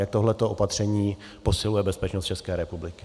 Jak tohle opatření posiluje bezpečnost České republiky?